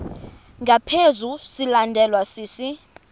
ngaphezu silandelwa sisi